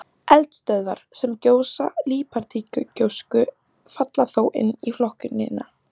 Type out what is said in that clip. Eldstöðvar, sem gjósa líparítgjósku, falla þó inn í flokkunina.